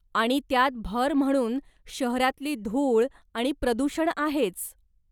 आणि त्यात भर म्हणून शहरातली धूळ आणि प्रदूषण आहेच.